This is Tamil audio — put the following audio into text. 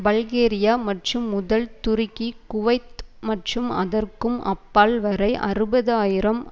பல்கேரியா மற்றும் முதல் துருக்கி குவைத் மற்றும் அதற்கும் அப்பால் வரை அறுபது ஆயிரம்